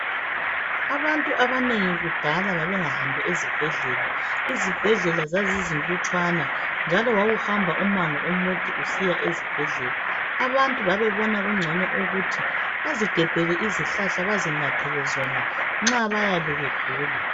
Abantu abanengi kudala babengahambi ezibhedlela, izibhedlela zazizilutshwana njalo wawuhamba umango omude usiya esibhedlela abantu babebona kungcono ukuthi bazigebhele izihlahla bezinathele zona nxa bayabe begula.